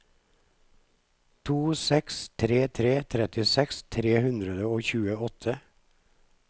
to seks tre tre trettiseks tre hundre og tjueåtte